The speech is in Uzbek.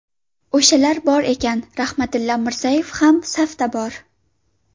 O‘shalar bor ekan, Rahmatilla Mirzayev ham safda bor”.